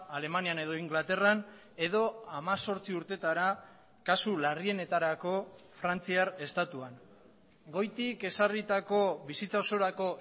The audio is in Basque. alemanian edo inglaterran edo hemezortzi urtetara kasu larrienetarako frantziar estatuan goitik ezarritako bizitza osorako